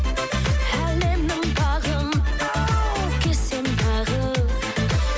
әлемнің бағын оу кезсем тағы